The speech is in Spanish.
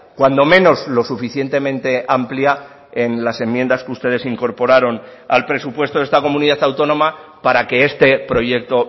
cuando menos lo suficientemente amplia en las enmiendas que ustedes incorporaron al presupuesto de esta comunidad autónoma para que este proyecto